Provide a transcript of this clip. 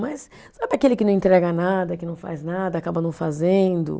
Mas sabe aquele que não entrega nada, que não faz nada, acaba não fazendo?